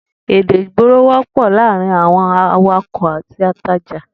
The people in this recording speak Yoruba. Èdè ìgboro wó̩pò̩ láàárín àwo̩n awakò̩ àti atajà